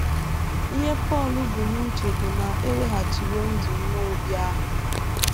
Ihe Pọl bu n’uche bụ na e weghachiwo ndụ nwa Obi ahụ.